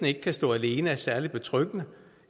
ikke kan stå alene er særlig betryggende